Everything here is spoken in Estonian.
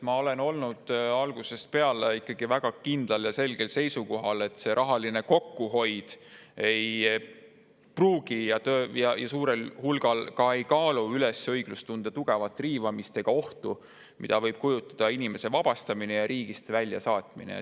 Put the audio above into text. Ma olen olnud algusest peale väga kindlal ja selgel seisukohal, et rahaline kokkuhoid ei pruugi üles kaaluda ja enamasti ei kaalugi õiglustunde tugevat riivamist ja ohtu, mida võib kujutada inimese vabastamine ja riigist väljasaatmine.